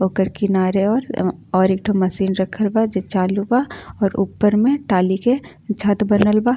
ओकर किनारे और अ और एक ठो मशीन रखल बा जे चालू बा और ऊपर में टाली के छत बनल बा।